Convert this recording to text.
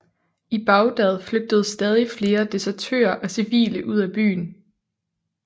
I Bagdad flygtede stadig flere desertører og civile ud af byen